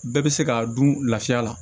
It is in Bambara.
Bɛɛ bɛ se k'a dun lafiya la